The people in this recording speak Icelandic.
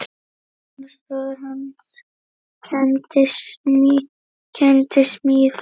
Magnús bróðir hans kenndi smíðar.